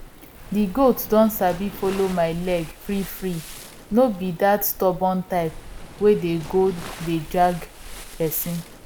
di goat don sabi follow my leg freefree no be dat stubborn type wey go dey drag person